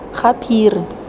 gaphiri